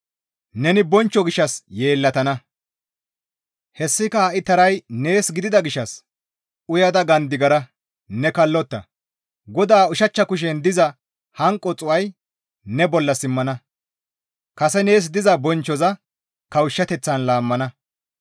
Neni bonchcho gishshas yeellatana; hessika ha7i taray nees gidida gishshas uyada gandigara; ne kallotta. GODAA ushachcha kushen diza hanqo xuu7ay ne bolla simmana; kase nees diza bonchchoza kawushshateththan laammana.